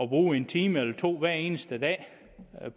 bruge en time eller to hver eneste dag